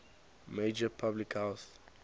major public health